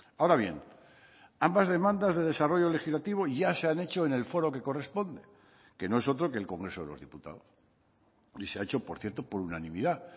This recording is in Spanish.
ahora bien ambas demandas de desarrollo legislativo ya se han hecho en el foro que corresponde que no es otro que el congreso de los diputados y se ha hecho por cierto por unanimidad